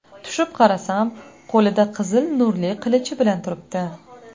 Tushib qarasam, qo‘lida qizil nurli qilichi bilan turibdi.